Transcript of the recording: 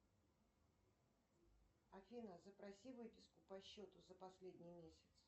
афина запроси выписку по счету за последний месяц